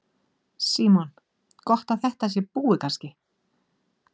Símon: Gott að þetta sé búið kannski?